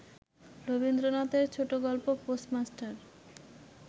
রবীন্দ্রনাথের ছোটগল্প পোস্টমাস্টার